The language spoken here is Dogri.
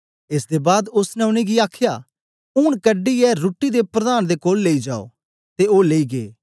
एस दे बाद ओसने उनेंगी आखया ऊन कढीयै रुट्टी दे प्रधान दे कोल लेई जाओ ते ओ लेई गै